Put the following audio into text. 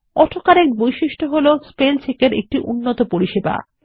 auto correct বৈশিষ্ট্য হল spellcheck এর একটি উন্নত পরিসেবা